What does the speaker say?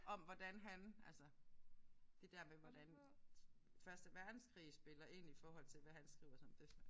Om hvordan han altså det der med hvordan første verdenskrig spiller ind i forhold til hvad han skriver sådan det er